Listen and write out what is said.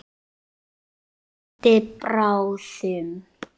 Vonandi bráðum.